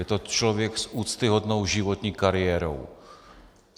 Je to člověk s úctyhodnou životní kariérou.